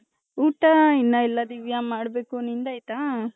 ಊಟ ಇನ್ನ ಎಲ್ಲ ದಿವ್ಯ ಮಾಡ್ಬೇಕು ನಿಂದ್ ಆಯ್ತಾ .